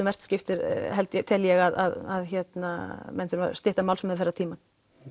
vert skiptir tel ég að menn þurfi að stytta málsmeðferðartímann